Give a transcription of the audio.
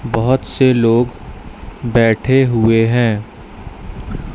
बहोत से लोग बैठे हुए हैं।